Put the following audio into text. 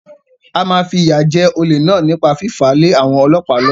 A máa fìyà jẹ olè náà nípa fífàá lé àwọn ọlọ́pàá lọ́wọ́.